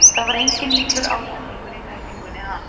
Það var enginn illur ásetningur í tæklingunni hans.